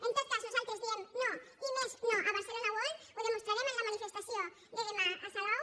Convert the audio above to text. en tot cas nosaltres diem no i més no a barcelona world ho demostrarem en la manifestació de demà a salou